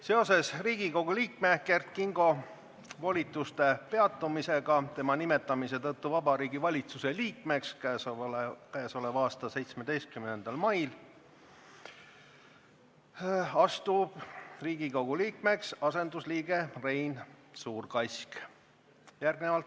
Seoses Kert Kingo volituste peatumisega tema nimetamise tõttu Vabariigi Valitsuse liikmeks k.a 17. mail asub Riigikogu liikmeks asendusliige Rein Suurkask.